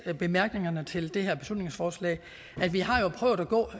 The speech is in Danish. bemærkningerne til det her beslutningsforslag vi har jo prøvet at gå